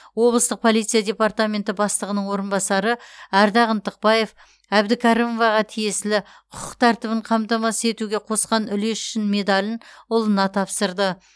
облыстық полиция департаменті бастығының орынбасары ардақ ынтықбаев әбідкәрімоваға тиесілі құқық тәртібін қамтамасыз етуге қосқан үлесі үшін медалін ұлына тапсырды